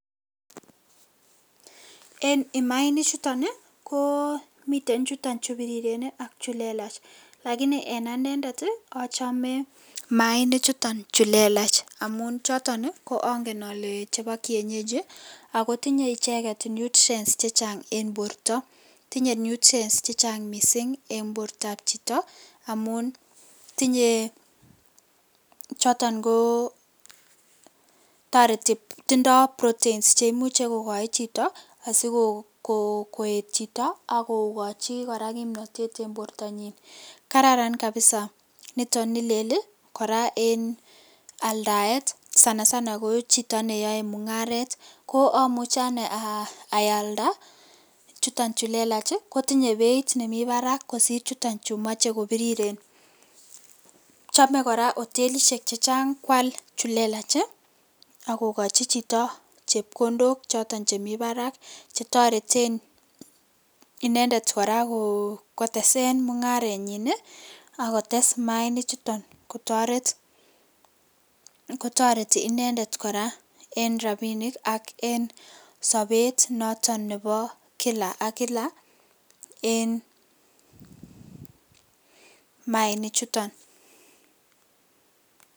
En imaainichuton ii koo miten chuton chubiriren ii ak chu lelach lakini en anendet ochome chuton chu lelach amun choton koongen ole chebo kienyeji akotinye icheget nutrients chechang en borto, tinye nutrients chechang misink en bortab chito amun tinye choton koo toreti ,tindo protein cheimuche kogoi chito sikoet chito akokochi koraa kimnotet en bortanyin kararan kabisa niton ni lel ii koraa en aldaet sana sana kochito neyoe mungaret ko omuche anee ayaldaa ii chuton chu lelach ii kotinye beit nemi barak kosir chuton chumoche kobiriren , chome koraa otelishek chechang kwal chu lelach ii ak kokochi chito chepkondok choton chemi barak chetoreten inendet kotesen mungarenyin ii ak kotes maainichuton kotoret, kotoreti inendet koraa en rabinik ak en sobet noton nebo kila ak kila en maainichuton.